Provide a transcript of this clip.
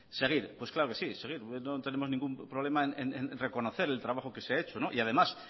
seguir pues claro que sí seguir no tenemos ningún problema en reconocer el trabajo que se ha hecho no y además